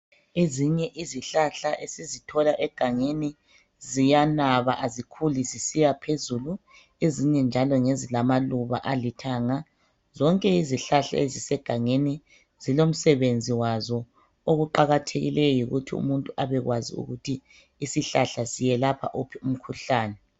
Ezinye izihlahla esizithola egangeni ziyanaba azikhuli zisiya phezulu ezinye njalo ngezi lamaluba alithanga zonke izihlahla ezisegangeni zilomsebenzi wazo okuqakathekileyo yikuthi umuntu abekwazi ukuthi isihlahla siyelapha wuphi umkhuhlane.